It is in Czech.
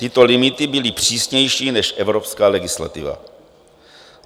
Tyto limity byly přísnější než evropská legislativa.